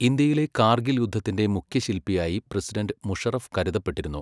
ഇന്ത്യയിലെ കാർഗിൽ യുദ്ധത്തിൻ്റെ മുഖ്യശിൽപിയായി പ്രസിഡണ്ട് മുഷറഫ് കരുതപ്പെട്ടിരുന്നു.